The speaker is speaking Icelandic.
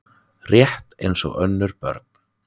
Rétt eins og önnur börn.